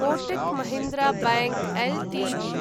Kotak Mahindra bank Ltd